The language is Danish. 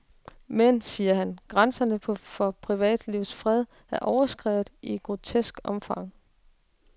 Men, siger han, grænserne for privatlivets fred er overskredet i et grotesk omfang.